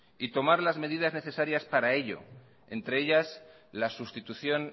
y tomar las medidas necesarias para ello entre ellas la sustitución